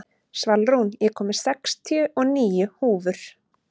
Svalrún, ég kom með sextíu og níu húfur!